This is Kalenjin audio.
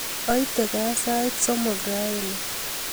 Aite kaa sait somok raini